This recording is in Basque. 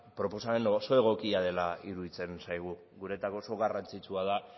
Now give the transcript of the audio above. proposamen oso egokia dela iruditzen zaigu guretzako oso garrantzitsua da